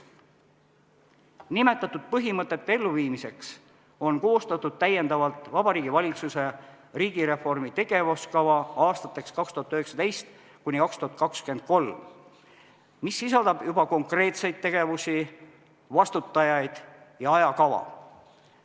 Nimetatud põhimõtete elluviimiseks on koostatud täiendavalt Vabariigi Valitsuse riigireformi tegevuskava aastateks 2019–2023, mis sisaldab juba konkreetseid tegevusi, vastutajaid ja ajakava.